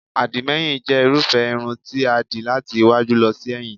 Àdìmẹ́yìn jẹ́ irúfẹ́ irun ti a dì láti iwájú lọ sí ẹ̀yìn